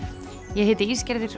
ég heiti